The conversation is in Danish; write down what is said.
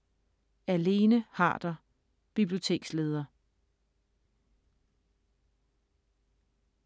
Af Lene Harder, Biblioteksleder